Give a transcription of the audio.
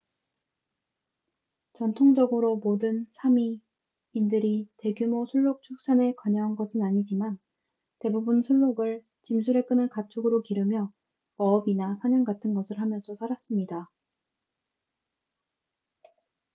전통적으로 모든 사미sámi인들이 대규모 순록 축산에 관여한 것은 아니지만 대부분 순록을 짐수레 끄는 가축으로 기르며 어업이나 사냥 같은 것을 하면서 살았습니다